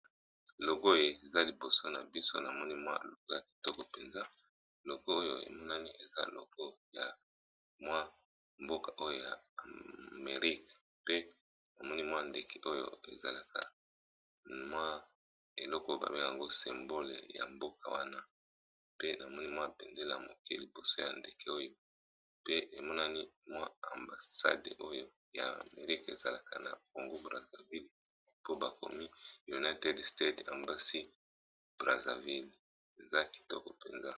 Logo eza liboso, namoni eza yo mboka oyo na lopoto babengi États-Unis d'Amérique